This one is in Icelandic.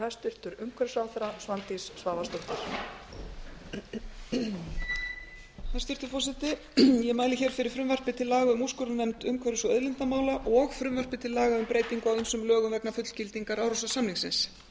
hæstvirtur forseti ég mæli hér fyrir frumvarpi til laga um úrskurðarnefnd umhverfis og auðlindamála og frumvarpi til laga um breytingu á ýmsum lögum vegna fullgildingar árósasamningsins